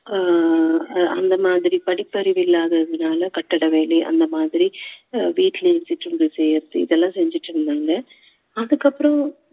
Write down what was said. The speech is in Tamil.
ஆஹ் அஹ் அந்த மாதிரி படிப்பறிவு இல்லாததுனால கட்டட வேலை அந்த மாதிரி வீட்டிலேயே சிற்றுண்டி செய்யுறது இதெல்லாம் செஞ்சுட்டு இருந்தாங்க அதுக்கப்புறம்